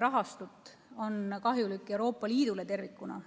rahastut, on kahjulik ja Euroopa Liidule tervikuna.